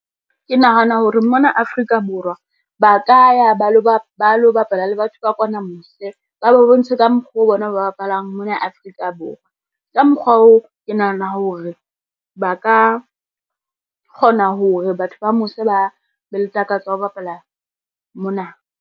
Ke nahana hore mona Afrika Borwa, ba ka ya ba lo bapala le batho ba kwana mose, ba ba bontshe ka mokgoo bona ba bapalang mona Afrika Borwa. Ka mokgwa oo, ke nahana hore ba ka kgona hore batho ba mose ba be le takatso ya ho bapala mona.